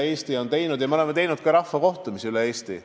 Me oleme korraldanud ka rahvakohtumisi üle Eesti.